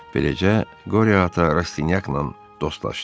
Beləcə Qori ata Rastinyakla dostlaşdı.